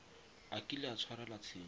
a kile a tshwarelwa tshenyo